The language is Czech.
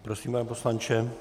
Prosím, pane poslanče.